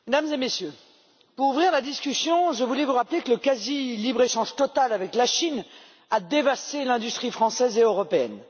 Monsieur le Président, Mesdames et Messieurs, pour ouvrir la discussion, je voulais vous rappeler que le quasi libre échange total avec la Chine a dévasté l'industrie française et européenne.